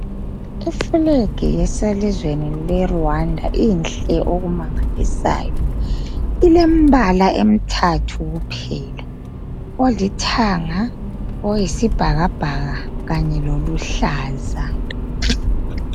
Ifulegi eselizweni leRwanda inhle okumangalisayo. Ilembala emithathu kuphela olithanga, oyisibhakabhaka kanye loluhlaza.